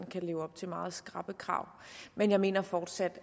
kan leve op til meget skrappe krav men jeg mener fortsat